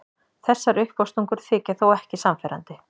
Þessar uppástungur þykja þó ekki sannfærandi.